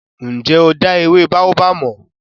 Ǹ jẹ́ o dá ewé Baobab mọ̀?